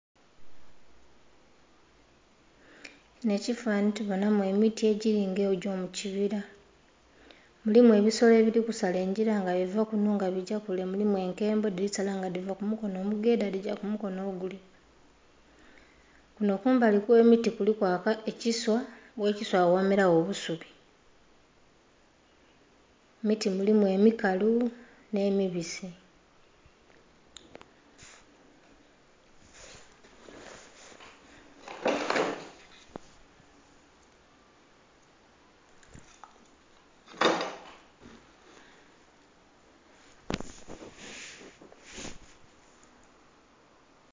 Kinho ekifananhi tubonhamu emiti egili nga egyo mu kibira, mulimu ebisolo ebiri kusala engila nga biva munho nga bigya kule, mulimu enkembo dhili sala nga dhiva ku mukonho omugedha nga dhigya ku mukonho ogulya. Kunho kumbali kwe miti kuliku ekiswa, ghe kiswahili agho ghamera gho obusubi. Emiti mulimu emikalu nhe mibisi.